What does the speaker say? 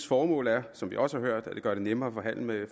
formål er som vi også har hørt at gøre det nemmere at handle med